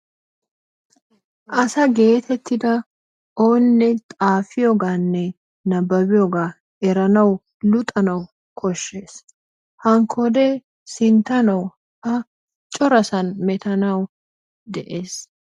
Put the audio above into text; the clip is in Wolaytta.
Asaa getetiddaa onnee xafiyooganne nababiyogaa eranawu luxanawu koshshees, hankoddee sinttanawu a choraa sanni mettanawu de'es.